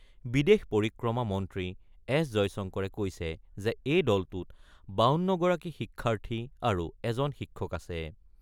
বিদেশ পৰিক্ৰমা মন্ত্ৰী এছ জয়শংকৰে কৈছে যে এই দলটোত ৫২ গৰাকী শিক্ষাৰ্থী আৰু এজন শিক্ষক আছে।